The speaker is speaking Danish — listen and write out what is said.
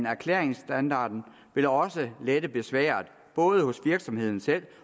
erklærinsstandarden vil da også lette besværet både hos virksomheden selv